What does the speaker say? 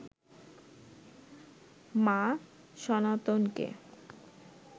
মা সনাতনকে